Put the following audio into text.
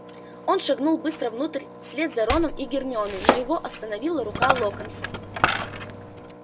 он шагнул быстро внутрь вслед за роном и гермионой но его остановила рука локонса